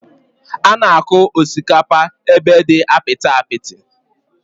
Ánà akụ osikapa ébé dị apịtị apịtị